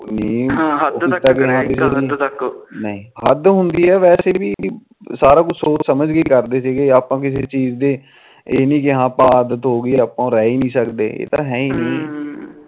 ਹੱਦ ਹੁੰਦੀ ਵੈਸੇ ਵੀ ਸਾਰਾ ਕੁਝ ਸੋਚ ਸਮਝ ਕੇ ਕਰਦੀ ਸੀ ਆਪਾ ਵੀ ਕਿਸੇ ਚੀਜ ਦੇ ਆਪਾ ਬੇ ਆਹਾ ਆਦਤ ਹੋਗੀ ਆਪਾ ਰਹਿ ਨੀ ਸਕਦੇ ਹਮ ਹਮ